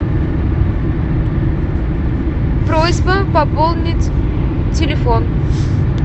просьба пополнить телефон